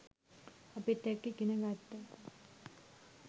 අපිත් එක්ක ඉගෙන ගත්තා.